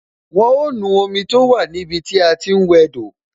Wọn ó nu omi tó wà ní ibi tí a ti ń wẹ do